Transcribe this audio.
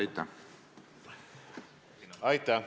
Aitäh!